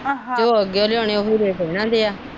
ਜੋ ਅੱਗਿਓ ਲਿਆਓਣੇ ਉਹੀ ਰੇਟ ਇਹਨਾਂ ਦੇ ਆ।